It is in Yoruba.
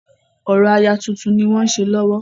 Orò aya tuntun ni wọ́n ṣe lọ́wọ́.